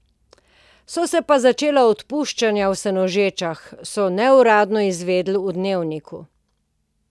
So se pa začela odpuščanja v Senožečah, so neuradno izvedeli v Dnevniku.